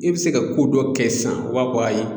I bɛ se ka ko dɔ kɛ sisan o b'a fɔ ayi